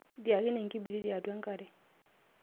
tieakine enkibiriti atua enkare